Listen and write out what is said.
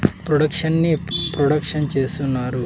Production ని production చేస్తున్నారు.